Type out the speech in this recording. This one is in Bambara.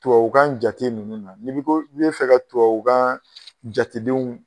Tubabu kan jate ninnu na , ni ko k'i bɛ fɛ ka tubabu kan jatedenw